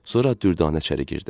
Sonra Dürdanə içəri girdi.